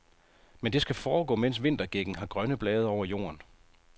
Men det skal foregå, mens vintergækken har grønne blade over jorden.